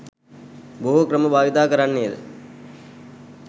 බොහෝ ක්‍රම භාවිත කරන්නේද